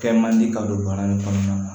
Kɛ man di ka don bana in kɔnɔna na